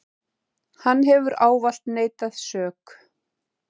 Hann hefur ávallt neitað sök.